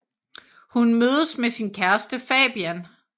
Hun mødes med sin kæreste Fabian